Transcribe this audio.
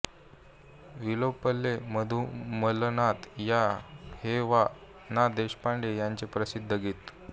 विलोपले मधु मीलनात या हे वा ना देशपांडे यांचे प्रसिद्ध गीत